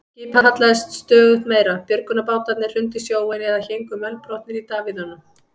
Skipið hallaðist stöðugt meira, björgunarbátarnir hrundu í sjóinn eða héngu mölbrotnir í davíðunum.